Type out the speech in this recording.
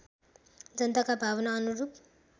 जनताका भावना अनुरूप